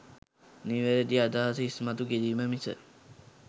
නිවැරදි අදහස ඉස්මතු කිරීම මිස